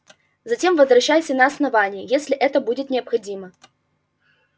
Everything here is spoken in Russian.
затем возвращайся на основание если это будет необходимо